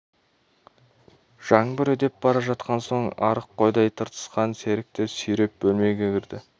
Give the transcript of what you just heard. жаңбыр үдеп бара жатқан соң арық қойдай тыртысқан серікті сүйреп бөлмеге кірді